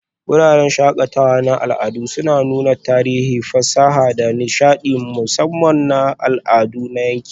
Wuraren shakatawa na al'adu suna nuna tarihi, fasaha, da nishaɗi, musamman na al'adun yanki.